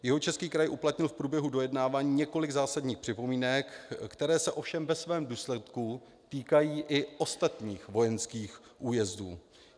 Jihočeský kraj uplatnil v průběhu dojednávání několik zásadních připomínek, které se ovšem ve svém důsledku týkají i ostatních vojenských újezdů.